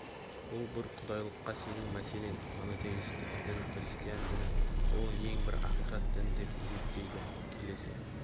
бұл бір құдайлыққа сену мәселен монотейстік дін христиан діні ол ең бір ақиқат дін деп есептейді келесі